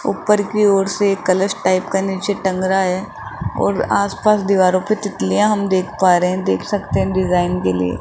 ऊपर की ओर से कलश टाइप का नीचे टंग रहा है और आस पास दीवारों पे तितलियां हम देख पा रहे हैं देख सकते हैं डिजाइन के लिए --